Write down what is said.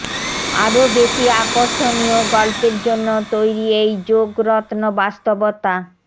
আরও বেশি আকর্ষণীয় গল্পের জন্য তৈরি এই যোগ রত্ন বাস্তবতা